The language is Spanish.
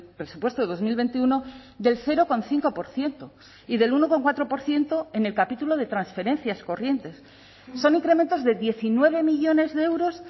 presupuesto de dos mil veintiuno del cero coma cinco por ciento y del uno coma cuatro por ciento en el capítulo de transferencias corrientes son incrementos de diecinueve millónes de euros